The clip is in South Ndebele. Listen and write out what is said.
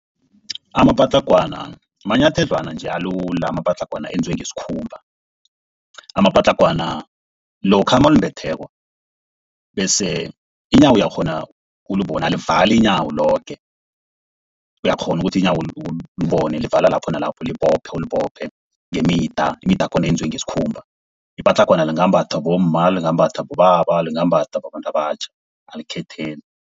Amapatlagwana manyathedlwana nje alula. Amapatlagwana eyenziwe ngesikhumba. Amapatlagwana lokha mawulimbetheko bese iinyawo uyakghona ukulibona alivali iinyawo loke. Uyakghona ukuthi iinyawo ulibone livala lapho nalapho, ulibophe ulibophe ngemidi. Imida yakhona yenziwe ngesikhumba. Ipatlagwana lingambathwa bomma, lingambathwa bobaba, lingambhathwa babantu abatjha alikhetheli.